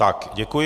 Tak děkuji.